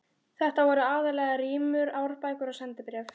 Þetta voru aðallega rímur, árbækur og sendibréf.